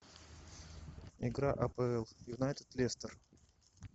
игра апл юнайтед лестер